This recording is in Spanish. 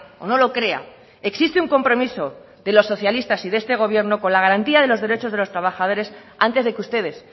o no lo crea existe un compromiso de los socialistas y de este gobierno con la garantía de los derechos de los trabajadores antes de que ustedes